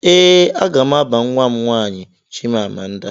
Ee aga m aba nwa m nwaanyị Chimamanda